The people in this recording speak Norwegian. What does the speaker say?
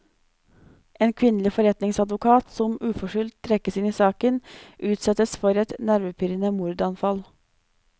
En kvinnelig forretningsadvokat som uforskyldt trekkes inn i saken, utsettes for et nervepirrende mordanfall.